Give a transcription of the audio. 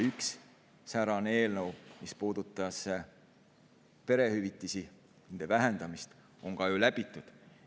Üks säärane eelnõu, mis puudutas perehüvitiste vähendamist, on ka ju läbitud.